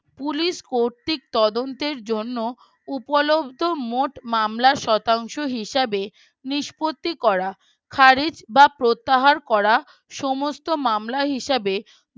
Police কর্তৃক তদন্তের জন্য উপলব্ধ মোট মামলা শতাংশ হিসাবে নিষপত্তি করা হারের বা প্রত্যাহার করা সমস্ত মামলা হিসেব